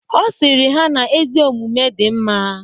Ọ sịrị ha na ezi omume dị mma